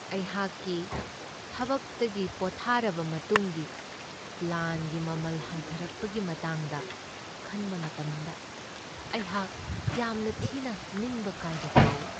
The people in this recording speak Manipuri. ꯑꯩꯍꯥꯛꯀꯤ ꯊꯕꯛꯇꯒꯤ ꯄꯣꯠꯊꯥꯔꯕ ꯃꯇꯨꯡꯒꯤ ꯄ꯭ꯂꯥꯟꯒꯤ ꯃꯃꯜ ꯍꯟꯊꯔꯛꯄꯒꯤ ꯃꯇꯥꯡꯗ ꯈꯟꯕ ꯃꯇꯝꯗ ꯑꯩꯍꯥꯛ ꯌꯥꯝꯅ ꯊꯤꯅ ꯅꯤꯡꯕ ꯀꯥꯏꯕ ꯐꯥꯎꯢ ꯫